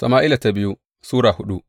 biyu Sama’ila Sura hudu